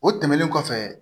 O tɛmɛnen kɔfɛ